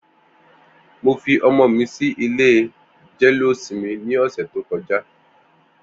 Mó fi ọmọ mi si ilé jẹléósìmì ni ọsẹ tókọ̀já